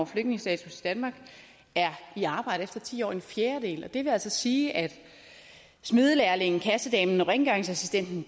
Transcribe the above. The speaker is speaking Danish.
flygtningestatus i danmark er i arbejde efter ti år en fjerdedel det vil altså sige at smedelærlingen kassedamen og rengøringsassistenten